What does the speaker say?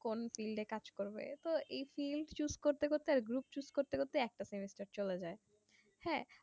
কোন field এ কাজ করবে তো এই field choose করতে করতে group choose করতে করতে একটা semester চলে যাই